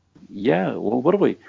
иә ол бар ғой